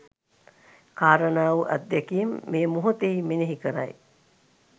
කාරණා වූ අත්දැකීම් මේ මොහොතෙහි මෙනෙහි කරයි.